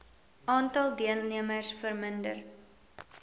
aantal deelnemers verminder